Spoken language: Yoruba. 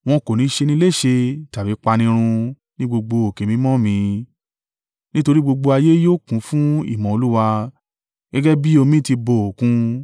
Wọn kò ní ṣe ni léṣe tàbí pa ni run ní gbogbo òkè mímọ́ mi, nítorí gbogbo ayé yóò kún fún ìmọ̀ Olúwa gẹ́gẹ́ bí omi ti bo Òkun.